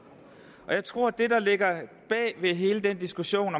jeg tror at det der ligger bag hele den diskussion